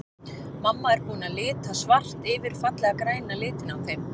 Mamma er búin að lita svart yfir fallega græna litinn á þeim.